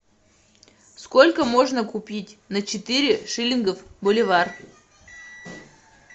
сколько можно купить на четыре шиллингов боливар